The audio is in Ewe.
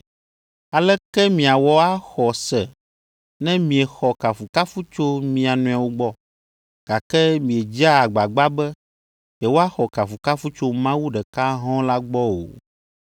Aleke miawɔ axɔ se ne miexɔ kafukafu tso mia nɔewo gbɔ, gake miedzea agbagba be yewoaxɔ kafukafu tso Mawu ɖeka hɔ̃ɔ la gbɔ o?